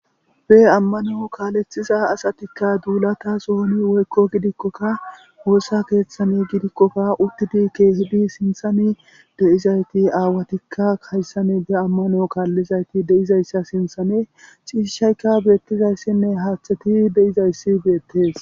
be ammano kaalethiza asatikka duulata sohoni woykko gidikkoka woossa keeththani gidikkofa uttidi keehidi sinthani de7izayti aawatikka kayssane be ammano kaallizayti de7izayssa sinthane ciishishayka beettizayssinne haaththeti de7izayssi beettes